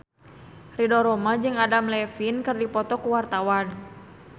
Ridho Roma jeung Adam Levine keur dipoto ku wartawan